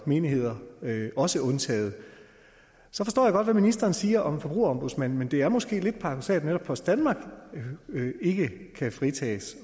menigheder også undtaget så forstår jeg godt hvad ministeren siger om forbrugerombudsmanden men det er måske lidt paradoksalt at netop post danmark ikke kan fritages